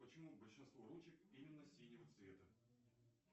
почему большинство ручек именно синего цвета